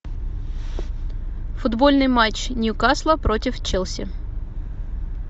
футбольный матч ньюкасла против челси